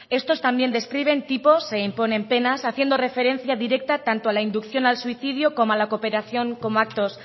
estos también describen tipos e imponen penas haciendo referencia directa tanto a la inducción al suicidio como a la cooperación como actos